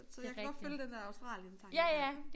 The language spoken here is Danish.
Så jeg kan godt følge den der Australien tankegang